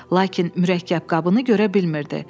Lakin mürəkkəb qabını görə bilmirdi.